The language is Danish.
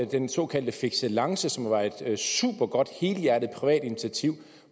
den såkaldte fixelancen som var et supergodt helhjertet privat initiativ